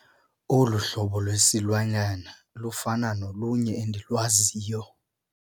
Olu hlobo lwesilwanyana lufana nolunye endilwaziyo.